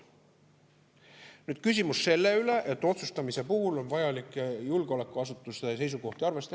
Nüüd see küsimus, et otsustamise puhul on vaja julgeolekuasutuste seisukohti arvestada.